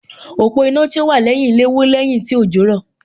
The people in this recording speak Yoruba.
Òpó iná tí ó wà lẹ́yìn ilé wó lẹ́yìn tí òjò rọ̀